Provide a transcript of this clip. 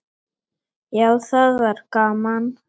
Já, það var gaman!